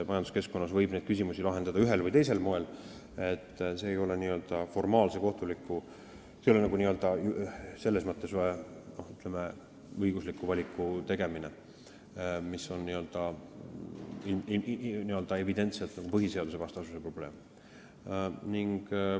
Majanduskeskkonnas võib neid küsimusi lahendada ühel või teisel moel, see ei ole selles mõttes, ütleme, õigusliku valiku tegemine, kus n-ö evidentselt on põhiseadusvastasuse probleem.